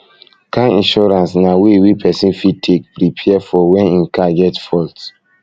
car insurance na way wey person fit take preapre for when im car get fault